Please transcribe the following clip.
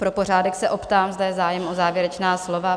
Pro pořádek se optám, zda je zájem o závěrečná slova?